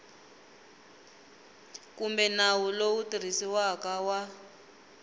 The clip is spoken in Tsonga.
kumbe nawu lowu tirhisiwaka wa